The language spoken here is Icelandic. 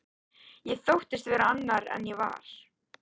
Ég þóttist vera annar en ég var.